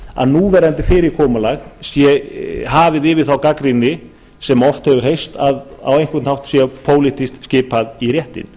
að núverandi fyrirkomulag sé hafið yfir þá gagnrýni sem oft hefur heyrst að á einhvern hátt sé pólitískt skipað í réttinn